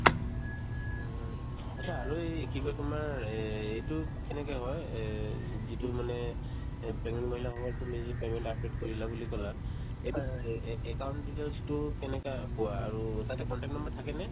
উম, উম atcha আৰু এই কি কই তোমাৰ এইটো কেনেকে হয় এই যিটো মানে এই pregnant মহিলা সকলৰ তুমি যি payment update কৰিলা বুলি ক'লা এইটোত এ ~ এ ~ account details তো কেনেকা পোৱা আৰু তাতে contact number থাকে নে ?